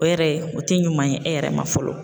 O yɛrɛ o tɛ ɲuman ye e yɛrɛ ma fɔlɔ.